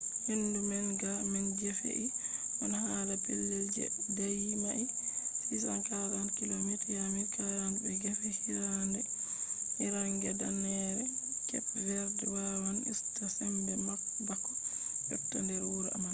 hendu manga man je fe’i on ha pellel je daayi mails 645 kilomita 1040 be gefe hiirnaange danneere kep verd wawan usta sembe bako yotta nder wuro man